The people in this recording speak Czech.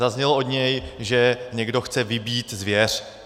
Zaznělo od něj, že někdo chce vybít zvěř.